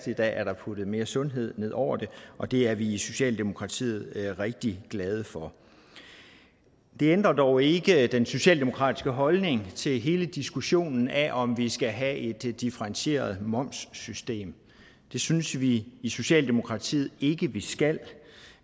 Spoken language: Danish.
i dag er der puttet mere sundhed ned over det og det er vi i socialdemokratiet rigtig glade for det ændrer dog ikke den socialdemokratiske holdning til hele diskussionen af om vi skal have et differentieret momssystem det synes vi i socialdemokratiet ikke at vi skal